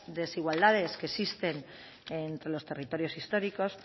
desigualdades que existen entre los territorios históricos